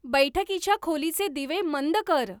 बैठकीच्या खोलीचे दिवे मंद कर